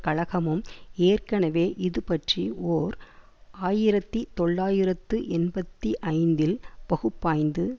கழகமும் ஏற்கனவே இது பற்றி ஓர் ஆயிரத்தி தொள்ளாயிரத்து எண்பத்தி ஐந்தில் பகுப்பாய்ந்து